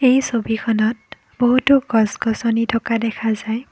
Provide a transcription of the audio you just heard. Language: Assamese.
এই ছবিখনত বহুতো গছ-গছনি থকা দেখা যায়।